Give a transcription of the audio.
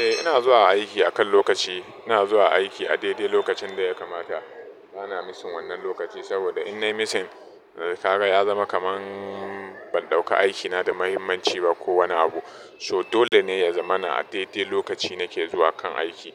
Eh ina zuwa aiki akan lokaci. Ina zuwa aiki a daidai lokacin da ya kamata. Bana misin wannan lokaci saboda in na yi misin, kaga ya zama kaman ban ɗauka aikina da muhimmanci ba ko wani abu. So dole ne ya zama na a daidai lokaci na ke zuwa kan aiki.